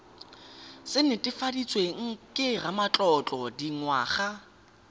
se netefaditsweng ke ramatlotlo dingwaga